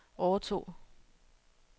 overtog